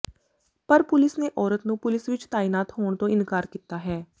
ਪਰ ਪੁਲਿਸ ਨੇ ਔਰਤ ਨੂੰ ਪੁਲਿਸ ਵਿੱਚ ਤਾਇਨਾਤ ਹੋਣ ਤੋਂ ਇਨਕਾਰ ਕੀਤਾ ਹੈ